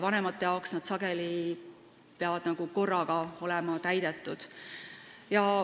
Vanemate arvates peavad need tingimused olema sageli korraga täidetud.